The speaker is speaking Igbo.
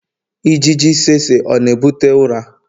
ijiji tsetse ọ na-ebute ụra?